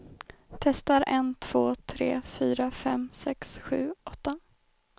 Testar en två tre fyra fem sex sju åtta.